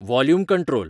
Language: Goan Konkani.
volume control